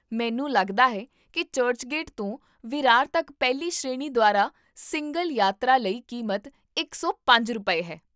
ਮੈਨੂੰ ਲੱਗਦਾ ਹੈ ਕੀ ਚਰਚਗੇਟ ਤੋਂ ਵਿਰਾਰ ਤੱਕ ਪਹਿਲੀ ਸ਼੍ਰੇਣੀ ਦੁਆਰਾ ਸਿੰਗਲ ਯਾਤਰਾ ਲਈ ਕੀਮਤ ਇਕ ਸੌ ਪੰਜ ਰੁਪਏ, ਹੈ